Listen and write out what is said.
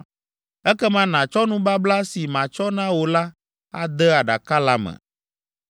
Ekema nàtsɔ nubabla si matsɔ na wò la ade aɖaka la me.